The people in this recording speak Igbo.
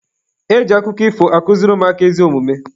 E ji akụkọ ifo akụziri ụmụaka ezi omume.